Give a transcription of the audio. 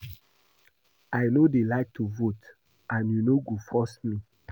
I no dey like to vote and you no go force me